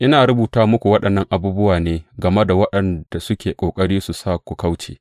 Ina rubuta muku waɗannan abubuwa ne game da waɗanda suke ƙoƙari su sa ku kauce.